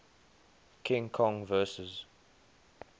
king kong vs